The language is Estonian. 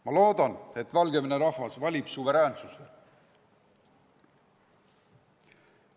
Ma loodan, et Valgevene rahvas valib suveräänsuse.